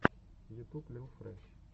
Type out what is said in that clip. ютуб лил фрэш